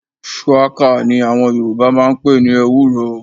Shuwaka ní àwọn Yoruba máa ń pe ní EWÚRO.